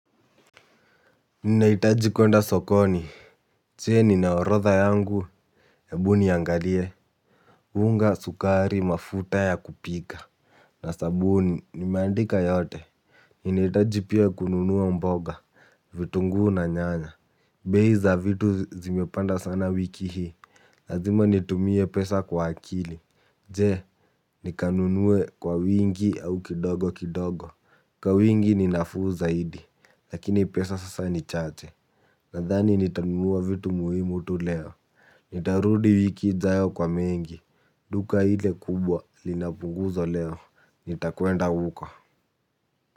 Ninahitaji kuenda sokoni, je, nina orodha yangu? Ebu niangalie. Unga, sukari, mafuta ya kupika na sabuni. Nimeandika yote. Ninahitaji pia kununua mboga. Vitunguu na nyanya. Bei za vitu zimepanda sana wiki hii. Lazima nitumie pesa kwa akili. Je, nikanunue kwa wingi au kidogo kidogo. Kwa wingi ni nafuu zaidi. Lakini pesa sasa ni chache. Nadhani nitanunua vitu muhimu tu leo. Nitarudi wiki ijayo kwa mengi. Duka ile kubwa lina punguzo leo. Nitakwenda huko.